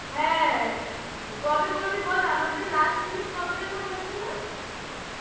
হ্যাঁ কবে করবি বল আমাদের লাস্ট meet কবে যেন হয়েছিল